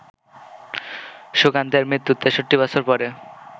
সুকান্তের মৃত্যুর ৬৩-বছর পরে